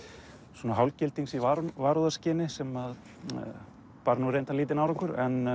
svona hálfgildings í varúðarskyni sem að bar nú reyndar lítinn árangur en